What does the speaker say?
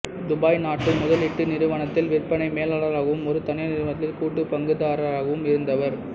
Dubai நாட்டு முதலீட்டு நிறுவனத்தில் விற்பனை மேலாளராகவும் ஒரு தனியார் நிறுவனத்தில் கூட்டு பங்குதாரராகவும் இருந்தவர்